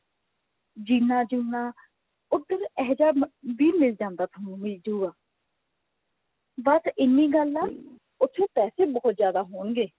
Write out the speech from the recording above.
ਜੀਨਾ ਜੂਨਾ ਉਧਰ ਅਹਿਜਾ ਵੀ ਮਿਲ ਜਾਂਦਾ ਥੋਨੂੰ ਮਿਲ ਜੁਗਾ ਬਸ ਇਹਨੀ ਗੱਲ ਹੈ ਉੱਥੇ ਪੈਸੇ ਬਹੁਤ ਜਿਆਦਾ ਹੋਣਗੇ